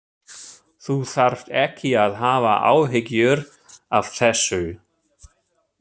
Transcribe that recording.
Þú þarft ekki að hafa áhyggjur af þessu.